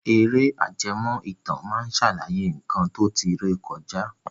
Àwọn ère ajẹmó ìtàn máa sàlàyé nkan to tí ré kọjá